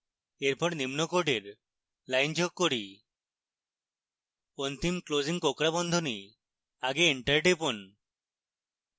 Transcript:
এরপর নিম্ন code line যোগ করি অন্তিম ক্লোসিং কোঁকড়া বন্ধনী আগে এন্টার লিখুন